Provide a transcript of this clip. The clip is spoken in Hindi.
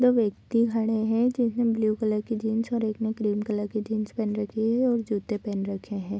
दो व्यक्ति खड़े हैं जिसने ब्लू कलर की जीन्स और एक ने क्रीम कलर की जीन्स पहन रखी है और जूते पहन रखे हैं।